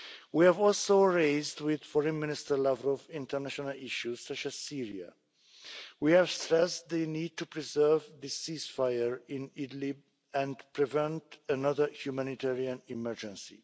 We have also raised with Foreign Minister Lavrov international issues such as Syria. We have stressed the need to preserve the ceasefire in Idlib and prevent another humanitarian emergency.